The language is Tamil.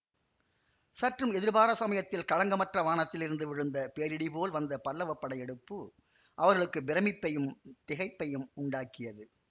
சற்றும் எதிர்பாரா சமயத்தில் களங்கமற்ற வானத்திலிருந்து விழுந்த பேரிடி போல் வந்த பல்லவப் படையெடுப்பு அவர்களுக்கு பிரமிப்பையும் திகைப்பையும் உண்டாக்கியது